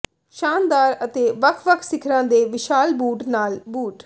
ਸ਼ਾਨਦਾਰ ਅਤੇ ਵੱਖ ਵੱਖ ਸਿਖਰਾਂ ਦੇ ਵਿਸ਼ਾਲ ਬੂਟ ਨਾਲ ਬੂਟ